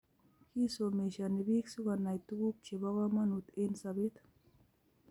Kisomeshoni biik si konai tukuk che bo komonut eng sobeek.